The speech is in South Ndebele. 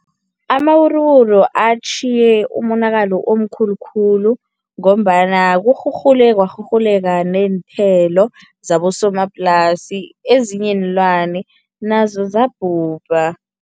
Amawuruwuru atjhiye umonakalo omkhulu khulu ngombana kurhurhule Kwarhurhuleka neenthelo zabosomaplasi, ezinye iinlwane nazo zabhubha.